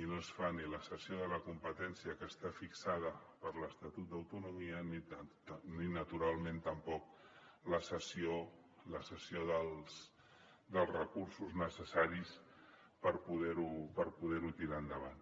i no es fa ni la cessió de la competència que està fixada per l’estatut d’autonomia ni naturalment tampoc la cessió dels recursos necessaris per poder ho tirar endavant